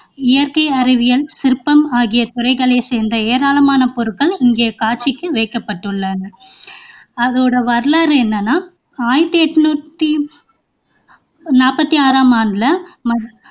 இயற்கை அறிவியல், சிற்பம் ஆகிய துறைகளைச் சேர்ந்த ஏராளமான பொருட்கள் இங்கே காட்சிக்கு வைக்கப்பட்டுள்ளன அதோட வரலாறு என்னன்னா ஆயிரத்து எண்ணூற்றி நாற்பத்தி ஆறாம் ஆண்டுல